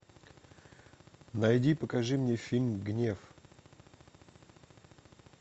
найди и покажи мне фильм гнев